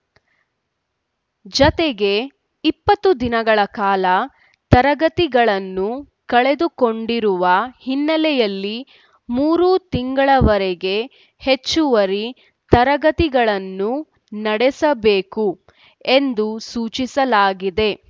ಜತೆಗೆ ಇಪ್ಪತ್ತು ದಿನಗಳ ಕಾಲ ತರಗತಿಗಳನ್ನು ಕಳೆದುಕೊಂಡಿರುವ ಹಿನ್ನೆಲೆಯಲ್ಲಿ ಮೂರು ತಿಂಗಳವರೆಗೆ ಹೆಚ್ಚುವರಿ ತರಗತಿಗಳನ್ನು ನಡೆಸಬೇಕು ಎಂದು ಸೂಚಿಸಲಾಗಿದೆ